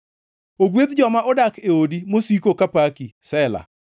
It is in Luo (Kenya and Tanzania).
Ogwedh joma odak e odi; mosiko ka paki. Sela